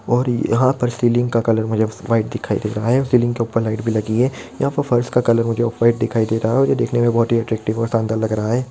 यहाँ पर सीलिंग का कलर मुझे वाइट दिखाई दे रहा है और सीलिंग के ऊपर लाइट भी लगी है यहाँ पर फर्श का कलर मुझे ऑफ वाइट दिखाई दे रहा है जो की देखने में मुझे बहोत ही अट्रैक्टिव और शानदार लग रहा है।